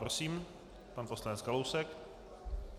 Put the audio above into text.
Prosím, pan poslanec Kalousek.